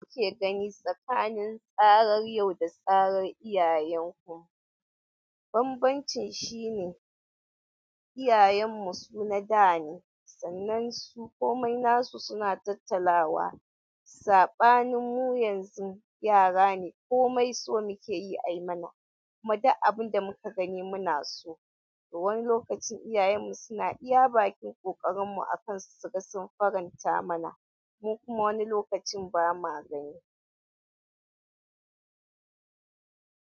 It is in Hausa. Mu ke gani tsakanin tsarar yau da tsarar iyayen ku? Banbancin shi ne, iyayenmu su na da ne, sannan su komai nasu suna tattalawa. Saɓanin mu yanzu yara ne komai so muke yi ai mana. Kuma da abun da muka gani muna so, da wani lokacin iyayenmu suna iya bakin ƙoƙarinmu akan su ga sun faranta mana. Mu kuma wani lokacin ba ma gani.